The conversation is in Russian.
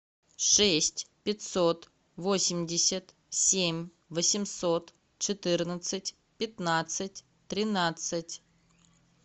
шесть пятьсот восемьдесят семь восемьсот четырнадцать пятнадцать тринадцать